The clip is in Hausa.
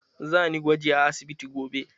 Za ni gwaji a asibiti gobe.